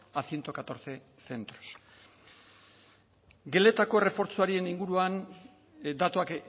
a ciento catorce centros geletako errefortzuaren inguruan datuak